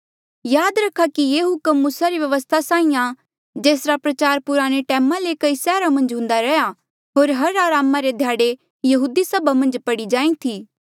याद रखा कि ये हुक्म मूसा री व्यवस्था साहीं आ जेसरा प्रचार पुराणे टैमा ले कई सैहरा मन्झ हुन्दा रैहया होर हर अरामा रे ध्याड़े यहूदी सभा मन्झ पढ़ी जाहीं थी